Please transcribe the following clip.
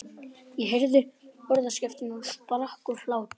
Ég heyrði orðaskiptin og sprakk úr hlátri.